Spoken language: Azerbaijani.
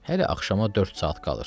Hələ axşama dörd saat qalır.